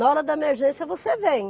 Na hora da emergência, você vem.